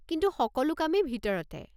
কিন্তু সকলো কামেই ভিতৰতে।